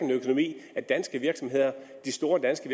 at de danske virksomheder de store danske